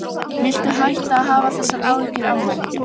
Viltu hætta að hafa þessar áhyggjur af manni!